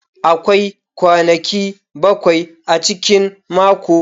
Akwai kwanaki bakwai a cikin mako.